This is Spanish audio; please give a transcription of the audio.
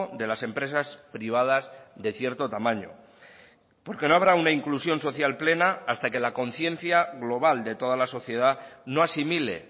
de las empresas privadas de cierto tamaño porque no habrá una inclusión social plena hasta que la conciencia global de toda la sociedad no asimile